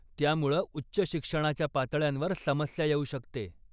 त्यामुळं उच्च शिक्षणाच्या पातळ्यांवर समस्या येऊ शकते.